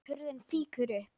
Hurðin fýkur upp.